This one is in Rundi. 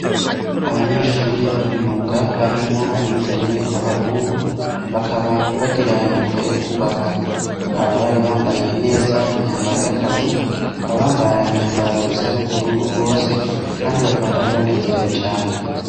Abanyeshure bo mu myuga, harimwo abigeme n'abahungu, bakaba bagira imyuga yo kwubaka, bakaba bari bambaye neza imyambaro y'akazi, bakaba bambara imyambaro isa n'ubururu bose, kandi bakaba bari banezerewe cane.